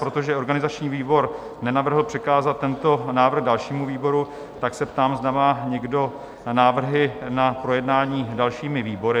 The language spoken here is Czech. Protože organizační výbor nenavrhl přikázat tento návrh dalšímu výboru, tak se ptám, zda má někdo návrhy na projednání dalšími výbory?